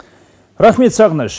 рахмет сағыныш